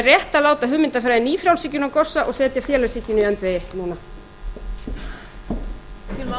rétt að láta hugmyndafræði nýfrjálshyggjunnar gossa og setja félagshyggjuna í öndvegi núna